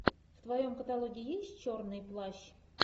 в твоем каталоге есть черный плащ